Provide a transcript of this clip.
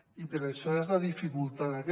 i per això hi ha la dificultat aquesta